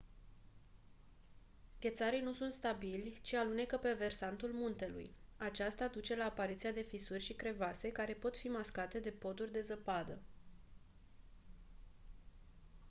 ghețarii nu sunt stabili ci alunecă pe versantul muntelui aceasta duce la apariția de fisuri și crevase care pot fi mascate de poduri de zăpadă